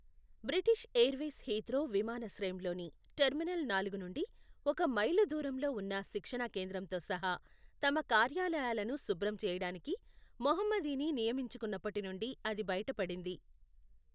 British airways Heathrow విమానాశ్రయంలోని terminal నాలుగు నుండి ఒక మైలు దూరంలో ఉన్న శిక్షణా కేంద్రంతో సహా, తమ కార్యాలయాలను శుభ్రం చేయడానికి, మొహమ్మిదీని నియమించుకున్నప్పటి నుండి అది బయటపడింది.